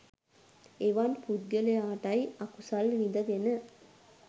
එවන් පුද්ගලයාටයි අකුසල් විදගෙන